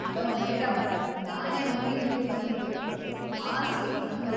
Hello madam, ನಾನೇ ಮೊದ್ಲು ಇಲ್ಲಿಗ್ ಬಂದಿದ್ದು. ಆ ಸೀಟ್ ನಂದು.